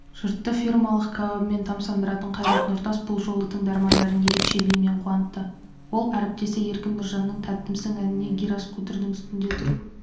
жұртты фирмалық кәуабымен тамсандыратын қайрат нұртас бұл жолы тыңдармандарын ерекше биімен қуантты ол әріптесі еркін нұржанның тәттімсің әніне гироскутердің үстінде тұрып